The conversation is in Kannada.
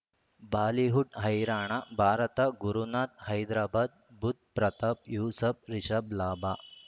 ಬಾಲಿವುಡ್ ಹೈರಾಣ ಭಾರತ ಗುರುನಾಥ ಹೈದರಾಬಾದ್ ಬುಧ್ ಪ್ರತಾಪ್ ಯೂಸುಫ್ ರಿಷಬ್ ಲಾಭ